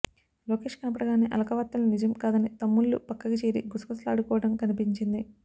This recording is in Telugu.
లోకేష్ కనపడగానే అలక వార్తలు నిజం కాదని తమ్ముళ్లు పక్కకి చేరి గుసగుసలాడుకోవడం కనిపించింది